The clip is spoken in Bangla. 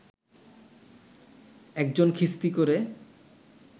একজন খিস্তি করে